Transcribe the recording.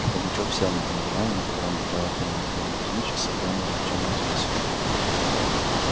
пугачёв сел на том диване на котором бывало дремал иван кузьмич усыплённый ворчанием своей супруги